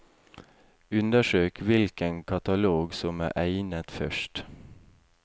Undersøk hvilken katalog som er egnet først.